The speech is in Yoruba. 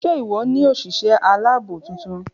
ṣé ìwọ ni òsìsé aláàbò titun?